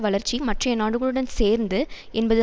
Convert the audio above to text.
வளர்ச்சி மற்றைய நாடுகளுடன் சேர்ந்து என்பது